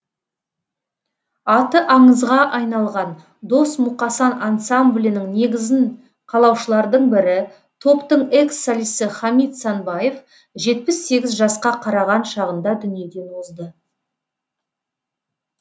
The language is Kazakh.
аты аңызға айналған дос мұқасан ансамблінің негізін қалаушылардың бірі топтың экс солисі хамит санбаев жетпіс сегіз жасқа қараған шағында дүниеден озды